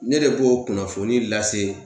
Ne de b'o kunnafoni lase.